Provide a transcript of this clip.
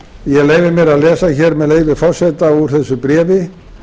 ég leyfi mér að lesa hér með leyfi forseta úr þessu bréfi